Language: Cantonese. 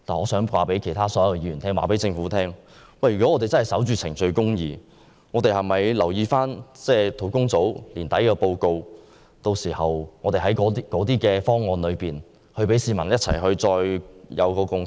我想告訴所有議員和政府，如果我們要守着程序公義，便應留意專責小組將於今年年底發表的報告，並讓市民在考慮眾多方案後取得共識。